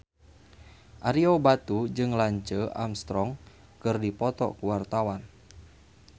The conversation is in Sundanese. Ario Batu jeung Lance Armstrong keur dipoto ku wartawan